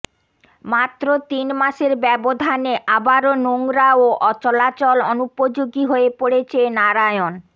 মাত্র তিন মাসের ব্যবধানে আবারো নোংরা ও চলাচল অনুপোযোগী হয়ে পড়েছে নারায়ণ